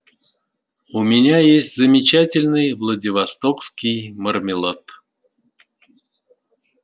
у меня есть замечательный владивостокский мармелад